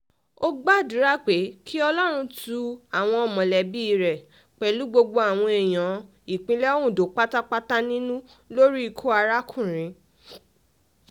ó gbàdúrà pé kí ọlọ́run tu àwọn mọ̀lẹ́bí rẹ̀ um pẹ̀lú gbogbo àwọn èèyàn ìpínlẹ̀ ondo pátápátá um nínú lórí ikú arákùnrin